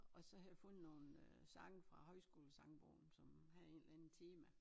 Og så havde vi fundet nogen sange fra højskolesangbogen som havde en eller anden tema